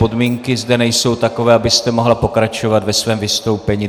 Podmínky zde nejsou takové, abyste mohla pokračovat ve svém vystoupení.